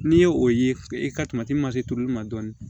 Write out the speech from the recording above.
N'i ye o ye i ka ma se turuli ma dɔɔnin